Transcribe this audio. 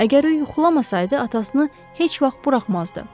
Əgər o yuxulamasaydı, atasını heç vaxt buraxmazdı.